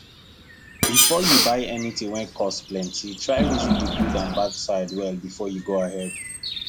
before you buy anything wey cost plenty try reason the good and bad sides well before you go ahead